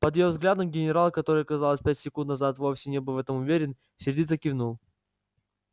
под её взглядом генерал который казалось пять секунд назад вовсе не был в этом уверен сердито кивнул